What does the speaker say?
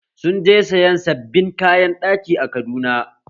Sun je sayan sabbin kayan ɗaki a Kaduna